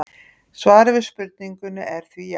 svarið við spurningunni er því já!